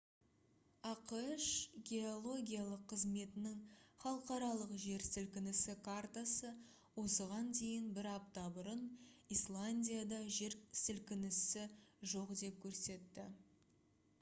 ақш геологиялық қызметінің халықаралық жер сілкінісі картасы осыған дейін бір апта бұрын исландияда жер сілкінісі жоқ деп көрсетті